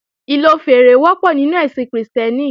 Ìlò fèèrè wọ́pọ̀ nínú ẹ̀sìn Krìstẹ́nì